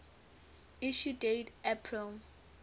issue date april